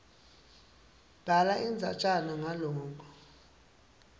bhala indzatjana ngaloko